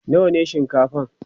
nawa ne shinkafan?